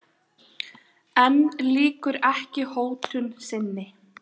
En lýkur ekki hótun sinni.